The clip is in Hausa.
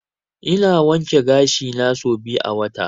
Ina wanke gashi na sau biyu a wata.